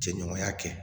Jɛɲɔgɔnya kɛ